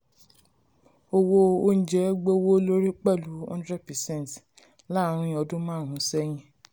owó um oúnjẹ um gbówó lórí pẹ̀lú hundred percent láàárín ọdún hundred percent láàárín ọdún márún sẹ́yìn.